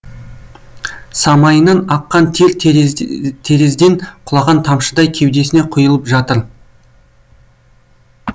самайынан аққан тер терезден құлаған тамшыдай кеудесіне құйылып жатыр